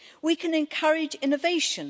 We can encourage innovation.